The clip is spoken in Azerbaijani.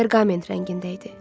Perqament rəngində idi.